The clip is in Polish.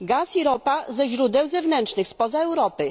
gaz i ropa za źródeł zewnętrznych spoza Europy